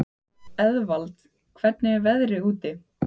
Eðvald, hvernig er veðrið úti?